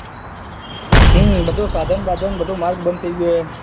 હમ બધું સાધન બાધાન બધું માલ બધો બંધ થઇ ગયો છે